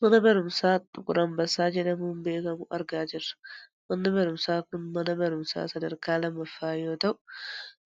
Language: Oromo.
Mana barumsaa xuqur ambassaa jedhamuun beekkamu argaa jirra. Manni barumsaa kun mana barumsaa sadarkaa lammafaa yoo ta'u